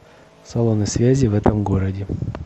салоны связи в этом городе